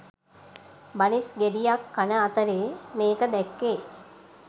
බනිස් ගෙඩියක් කන අතරෙ මේක දැක්කෙ